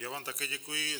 Já vám také děkuji.